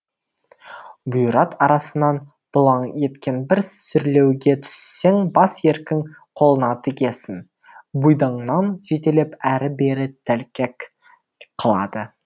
бұйрат арасынан бұлаң еткен бір сүрлеуге түссең бас еркің қолына тигесін бұйдаңнан жетелеп әрі бері тәлкек қылады